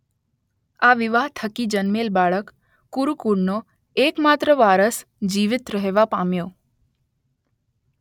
આ વિવાહ થકી જન્મેલ બાળક કુરુ કુળનો એક માત્ર વારસ જીવીત રહેવા પામ્યો